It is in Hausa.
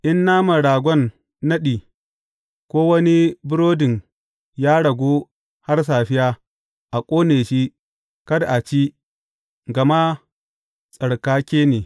In naman ragon naɗi ko wani burodin ya ragu har safiya, a ƙone shi, kada a ci gama tsarkake ne.